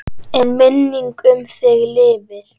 En minning um þig lifir.